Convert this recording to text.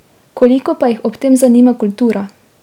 Koliko pa jih ob tem zanima kultura?